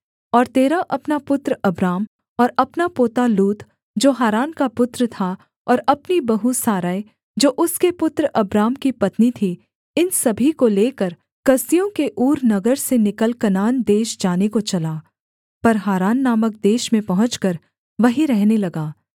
और तेरह अपना पुत्र अब्राम और अपना पोता लूत जो हारान का पुत्र था और अपनी बहू सारै जो उसके पुत्र अब्राम की पत्नी थी इन सभी को लेकर कसदियों के ऊर नगर से निकल कनान देश जाने को चला पर हारान नामक देश में पहुँचकर वहीं रहने लगा